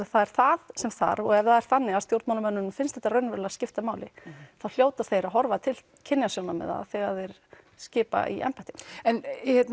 að það er það sem þarf og ef það er þannig að stjórnmálamönnum finnst þetta raunverulega skipta máli þá hljóta þeir að horfa til kynjasjónarmiða þegar þeir skipa í embætti en